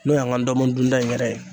N'o y'an ka ndɔmɔn dun ta in yɛrɛ ye.